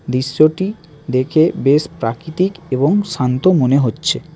দৃশ্যটি দেখে বেশ প্রাকৃতিক এবং শান্ত মনে হচ্ছে।